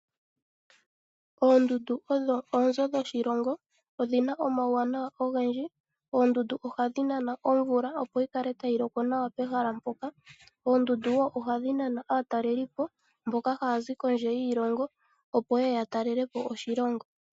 Oondundu odho oonzo dhoshilongo, odhina omauwanawa ogendji. Oondundu ohadhi nana omvula opo yikale tayi loko nawa pehala mpoka. Oondundu wo ohadhi nana aataleli po mboka haya zi kondje yiilongo opo yeye ya talelepo oshilongo.